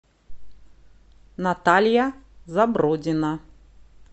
наталья забродина